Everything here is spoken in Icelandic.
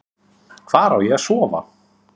Hvar á ég að sofa?